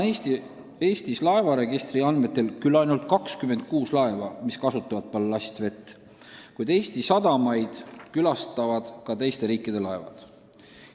Eestis on laevaregistri andmetel praegu küll ainult 26 laeva, mis kasutavad ballastvett, kuid Eesti sadamaid külastavad ka teiste riikide laevad.